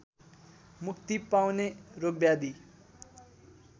मुक्ति पाउने रोगव्याधी